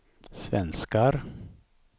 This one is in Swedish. svenskar